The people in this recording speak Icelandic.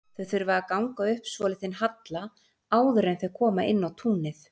Þau þurfa að ganga upp svolítinn halla áður en þau koma inn á túnið.